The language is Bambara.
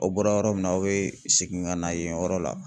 Aw bɔra yɔrɔ min na aw bɛ segin ka na yen yɔrɔ la.